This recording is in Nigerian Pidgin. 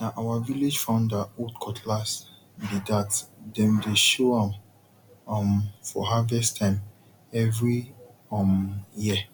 na our village founder old cutlass be thatdem dey show am um for harvest time every um year